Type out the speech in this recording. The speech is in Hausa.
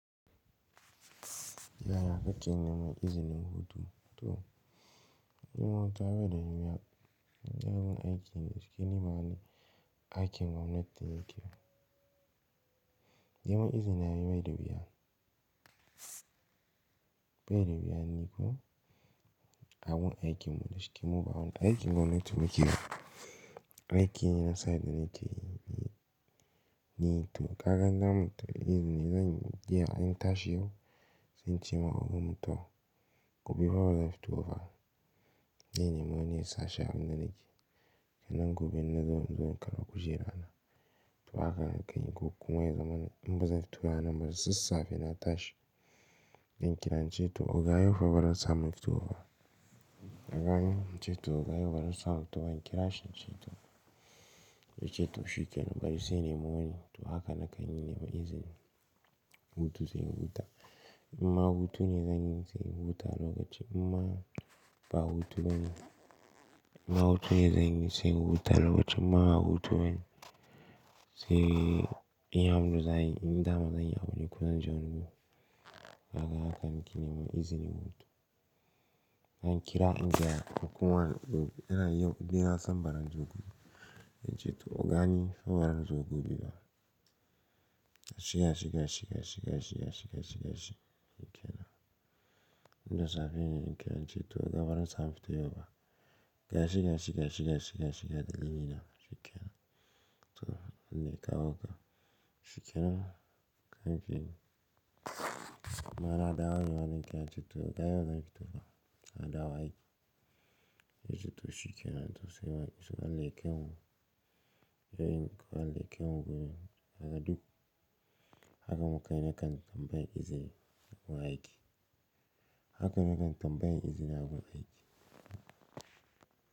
Yaya ake neman izinin hutu to. Nima gawa da wuya, yawancin aikin shuki nima al'in aikin gwamnati yake yi. Neman izini yayi mai da wuya. Bai da wuya niko, aikin shuki muba aikin gwamnati muke yi. Aikin na sani na ce yi to kakan zamu tafi izini zanyi mu je an yi tashi yau, zan ce ma gwamna to gobe fa zan fito fa. Yini mun ne sashi a wanne nake yi, kai nan gobe na zo in karba kujera na. To haka kan yi ko kun wayar zamanin, in ba zan fito ba nan ba da safe na tashi. Zan kira nce to oga yau fa bara za mu fito ba. Na gani nce to oga yau fa bara za mu fito ba, an kira shi nce to, ya ce to shuka nan bari sai ni mayoni. To haka na kan yi neman izinin hutu sai in guta. In ma hutu ne zanyi sai in huta lokacin, in ma ba hutu bane. In ma hutu ne zanyi sai in huta lokacin, in ma ba hutu bane sai in ya amsa zanyi, in damu zanyi ya wuce kunan jan rugu. Haka haka kan yi neman izinin hutu. An kira in je a kuma yau dinan sam bara zan zo gobe. Ya ce to ogani fa bara zan zo gobe ba. Shika, shika, shika, shika, shika, shika, shika, shika, shika, shika, shika. Shuka nan. In da safe ne an kira nce to oga bara za mu fito yau ba. Shika, shika, shika, shika, shika, shika, shika, shika, shika, shika, ga dalilina shikenan to in dai kawo ka. Shuka nan kan yi mana adawa ne an kira nce to oga yau za mu fito fa. Adawa aiki. Ya ce to shuka nan to sai wa, sai wani leƙen wuri. Ya yi leƙen wuri yaga duk. Haka muka yi ne kan tambayi izini a aiki. Haka muka yi ne kan tambayi izini a aiki.